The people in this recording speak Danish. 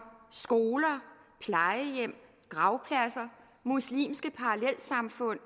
skoler plejehjem gravpladser muslimske parallelsamfund